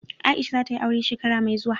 Aisha za ta yi aure shekara mai zuwa.